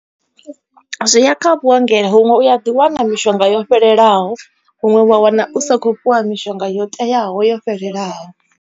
Zwi ya kha vhuongelo huṅwe u a ḓi wana mishonga, yo fhelelaho huṅwe wa wana u sa kho fhiwa mishonga yo teaho yo fhelelaho.